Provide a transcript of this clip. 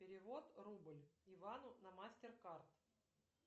перевод рубль ивану на мастер кард